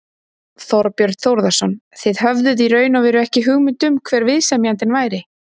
Þorbjörn Þórðarson: Þið höfðum í raun og veru ekki hugmynd um hver viðsemjandinn væri?